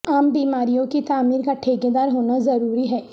عام بیماریوں کی تعمیر کا ٹھیکیدار ہونا ضروری ہے